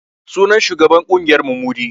Sunan shugaban ƙungiyar mu Mudi